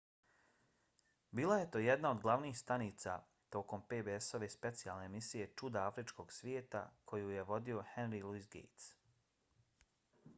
bila je to jedna od glavnih stanica tokom pbs-ove specijalne emisije čuda afričkog svijeta koju je vodio henry louis gates